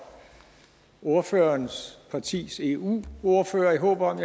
ordførerens partis eu ordfører i håb om